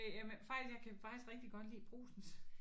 Øh jamen jeg faktisk jeg kan faktisk rigtig godt lide Brugsens